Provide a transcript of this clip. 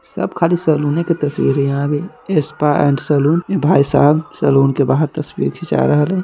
सब खालि सैलून के तस्वीर हई यहां भी स्पा एंड सैलून भाई साइब सैलून के बाहर तस्वीर खीचा रहल हई ।